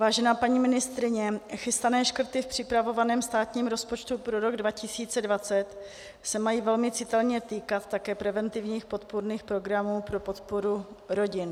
Vážená paní ministryně, chystané škrty v připravovaném státním rozpočtu pro rok 2020 se mají velmi citelně týkat také preventivních podpůrných programů pro podporu rodin.